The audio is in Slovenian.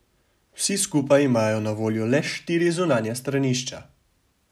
Vsi skupaj imajo na voljo le štiri zunanja stranišča.